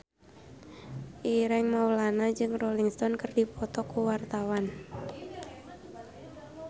Ireng Maulana jeung Rolling Stone keur dipoto ku wartawan